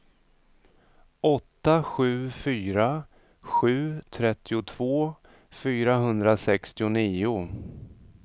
åtta sju fyra sju trettiotvå fyrahundrasextionio